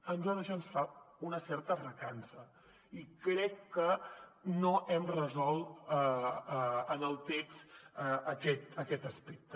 a nosaltres això ens fa una certa recança i crec que no hem resolt en el text aquest aspecte